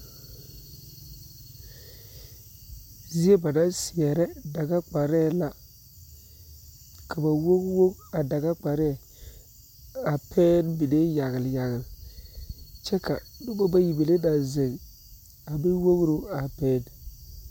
Zie ba naŋ seere dega kparre la ka ba wowo a daga kparre pɛge mine yagle yagle kyɛ ka noba bayi mine naŋ zeŋ a meŋ wogre a pɛŋ.